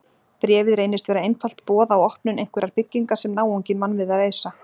Bréfið reynist vera einfalt boð á opnun einhverrar byggingar sem náunginn vann við að reisa.